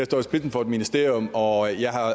står i spidsen for et ministerium og jeg har